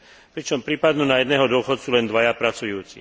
Pričom pripadnú na jedného dôchodcu len dvaja pracujúci.